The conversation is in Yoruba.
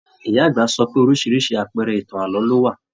Ìyá àgbà sọ pé oríṣiríṣi àpẹẹrẹ ìtàn ààlọ́ ló wà.